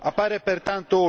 tempestività.